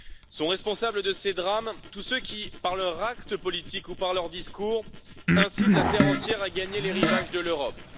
Sont responsables de ces drames tous ceux qui, par leurs actes politiques ou par leurs discours, incitent la terre entière à gagner les rivages de l'Europe.